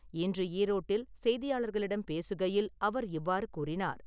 இன்று ஈரோட்டில் செய்தியாளர்களிடம் பேசுகையில் அவர் இவ்வாறு கூறினார்.